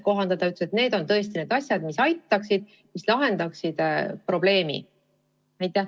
Ta ütles, et need on tõesti need asjad, mis aitaksid probleemi lahendada.